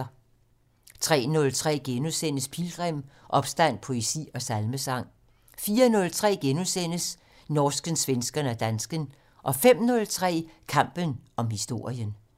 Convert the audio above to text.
03:03: Pilgrim - Opstand, poesi og salmesang * 04:03: Norsken, svensken og dansken * 05:03: Kampen om historien